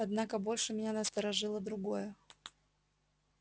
однако больше меня насторожило другое